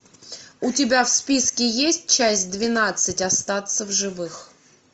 у тебя в списке есть часть двенадцать остаться в живых